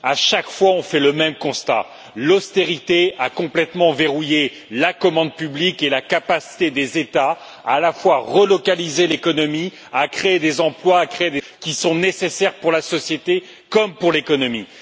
À chaque fois, on fait le même constat l'austérité a complètement verrouillé la commande publique et la capacité des États à la fois à relocaliser l'économie, à créer des emplois, à créer des infrastructures qui sont nécessaires pour la société, comme pour l'économie.